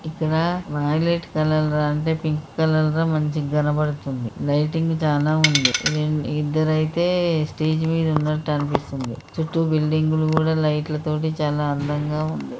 ఇక్కడ violet colour అంటే pink colour మంచి గా కనబడుతుంది. లైటింగ్ చానా ఉంది. రెండు ఇద్దరు అయితే స్టేజి మీద ఉన్నట్టు అనిపిస్తుంది. చుట్టూ బిల్డింగులు కూడా లైట్ తోటి చాలా అందంగా ఉంది.